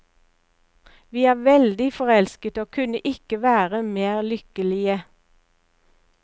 Vi er veldig forelsket og kunne ikke være mer lykkelige.